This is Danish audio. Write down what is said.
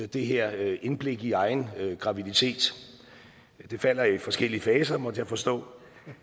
det her indblik i egen graviditet den falder i forskellige faser måtte jeg forstå